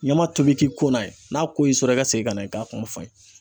Ɲama tobi k'i ko n'a ye n'a ko y'i sɔrɔ i ka segin ka na i ka kuma fɔ n ye.